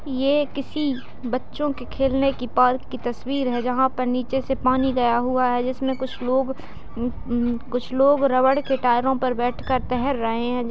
ये किसी बच्चो खेलने की पार्क की तस्वीर है जहाँ पर नीचे से पानी गया हुआ है जिसमें कुछ लोग कुछ लोग रबर के टायरों पर बैठ कर तैर रहे हैं।